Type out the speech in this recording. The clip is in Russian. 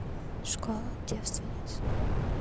школа девственниц